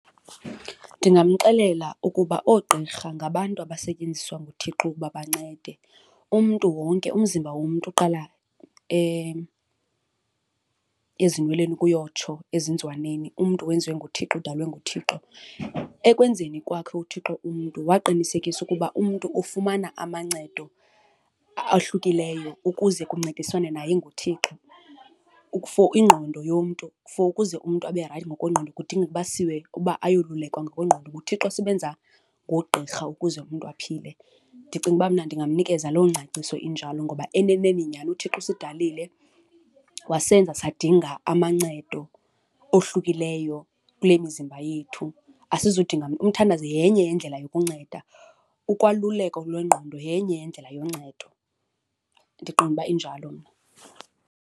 Ndingamxelela ukuba oogqirha ngabantu abasetyenziswa nguThixo ukuba bancede. Umntu wonke, umzimba womntu uqala ezinweleni ukuyotsho ezenzizwaneni, umntu wenziwe nguThixo, udalwe nguThixo. Ekwenzeni kwakhe uThixo umntu waqinisekisa ukuba umntu ufumana amancedo ahlukileyo ukuze kuncediswane naye enguThixo. For ingqondo yomntu, for ukuze umntu abe rayithi ngokwengqondo kudingeka basiwe ukuba ayolulekwa ngokwengqondo. NguThixo osebenza ngoogqirha ukuze umntu aphile. Ndicinga uba mna ndinganikeza loo ngcaciso injalo ngoba eneneni nyani uThixo usidalile wasenza sadinga amancedo ohlukileyo kule mizimba yethu. Asizudinga , umthandazo yenye yendlela yokunceda, ukwaluleka lwengqondo yenye yendlela yoncedo, ndiqonda uba injalo mna.